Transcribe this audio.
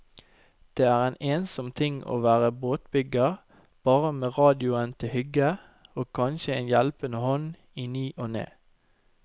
Det er en ensom ting å være båtbygger bare med radioen til hygge, og kanskje en hjelpende hånd i ny og ne.